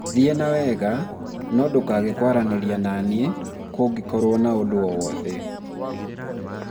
thiĩ nawega, no ndũkage kwaranĩria na niĩ kũndĩkorwo na ũndũ o wothe